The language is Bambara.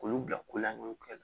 K'olu bila ko laɲɔgɔn kɛ